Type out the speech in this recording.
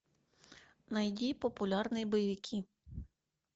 найди популярные боевики